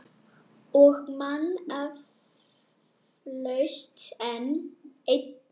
Og man eflaust enn.